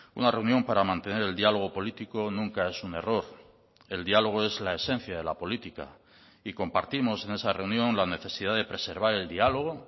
una reunión para mantener el diálogo político nunca es un error el diálogo es la esencia de la política y compartimos en esa reunión la necesidad de preservar el diálogo